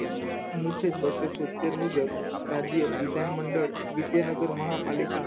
અનુચ્છેદ બસો સિત્તેર મુજબ રાજ્ય વિધાન મંડળ, વિદ્યાનગર મહાપાલિકા